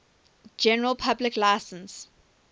general public license